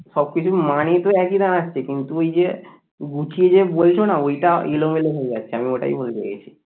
সবকিছুর মানেই তো একই দাড়াচ্ছে কিন্তু ওই যে গুছিয়ে যে বলছো না ওইটা এলোমেলো হয়ে যাচ্ছে আমি বলতে চাইছি